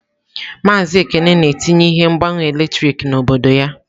Maazị Ekene na-etinye ihe mgbanwe eletrik n'obodo ya.